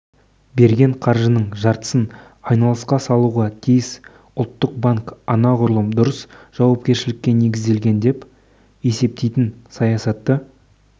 берген қаржының жартысын айналысқа салуға тиіс ұлттық банк анағұрлым дұрыс жауапкершілікке негізделген деп есептейтін саясатты